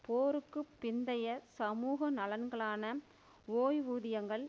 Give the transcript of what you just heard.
போருக்கு பிந்தைய சமூக நலன்களான ஓய்வூதியங்கள்